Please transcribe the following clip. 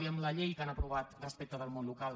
i amb la llei que han aprovat respecte del món local